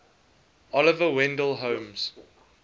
oliver wendell holmes